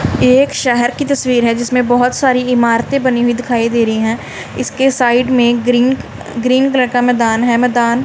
ये एक शहर की तस्वीर हैं जिसमें बहोत सारी इमारतें बनी हुई दिखाई दे रहीं हैं इसके साइड में ग्रीन ग्रीन कलर का मैदान हैं मैदान--